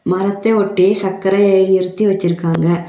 மரத்த ஒட்டி சக்கரைய நிருத்தி வச்சுருக்காங்க.